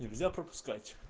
нельзя пропускать